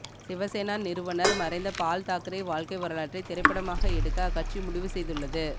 சிவசேனா நிறுவனர் மறைந்த பால்தாக்கரே வாழ்க்கை வரலாற்றை திரைப்படமாக எடுக்க அக்கட்சி முடிவு செய்துள்ளது